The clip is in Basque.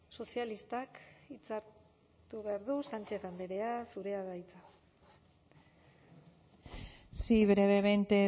sozialistak hitza hartu behar du sánchez andrea zurea da hitza sí brevemente